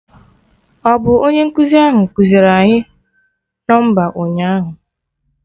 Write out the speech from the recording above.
Ọ bụ onye nkụzi ahụ kụziiri anyị nọmba ụnyaahụ?